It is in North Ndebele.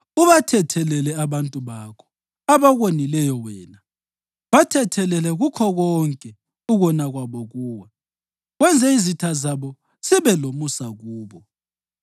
Ubathethelele abantu bakho, abakonileyo wena, bathethelele kukho konke ukona kwabo kuwe, wenze izitha zabo zibe lomusa kubo;